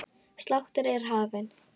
Sláttur er hafinn.